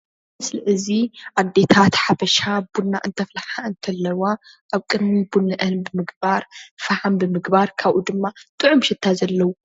እዚ ምስሊ እዚ ኣዴታት ሓበሻ ቡና እንተፍልሓ እንተለዋ ኣብ ቅድሚ ቡነአን ቢምግባር፣ ፍሓም ብምግባር ካብኡ ድማ ጥዑም ሽታ ዘለዎ